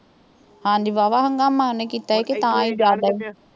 ਹਾਂਜੀ ਬਾਹਵਾ ਹੁਣ ਉਹਦਾ ਮਨ ਕੀਤਾ ਸੀ, ਕਿ ਤਾਂ ਹੀ